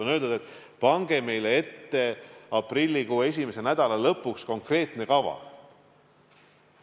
On ju öeldud, et pange meile ette aprillikuu esimese nädala lõpuks konkreetne kava.